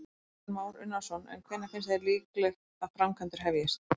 Kristján Már Unnarsson: En hvenær finnst þér líklegt að framkvæmdir hefjist?